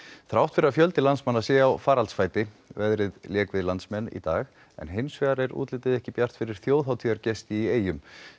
þrátt fyrir að fjöldi landsmanna sé á faraldsfæti veðrið lék við landsmenn í dag en hinsvegar er útlitið ekki bjart fyrir þjóðhátíðargesti í eyjum